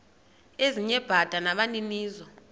ezinye bada nabaninizo